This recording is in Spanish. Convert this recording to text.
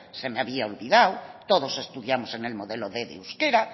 se me había olvidado todos estudiamos en el modelo quinientos de euskera